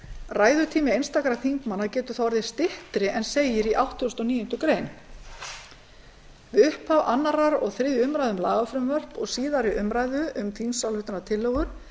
ræðutími einstakra þingmanna getur þá orðið styttri en segir í áttugasta og níundu grein við upphaf annar og þriðju umræðu um lagafrumvörp og síðari umræðu um þingsályktunartillögur